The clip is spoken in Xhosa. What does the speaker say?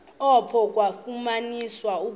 apho kwafunyaniswa ukuba